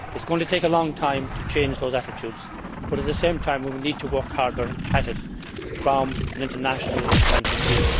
It is going to take a long time to change those attitudes, but at the same time we need to work harder to do so from an international point of view.